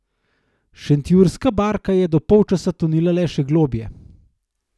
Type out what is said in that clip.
Šentjurska barka je do polčasa tonila le še globlje.